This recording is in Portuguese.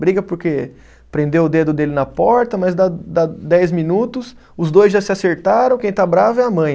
Briga porque prendeu o dedo dele na porta, mas dá dá dez minutos, os dois já se acertaram, quem está bravo é a mãe.